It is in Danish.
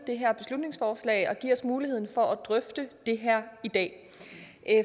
det her beslutningsforslag og give os muligheden for at drøfte det her i dag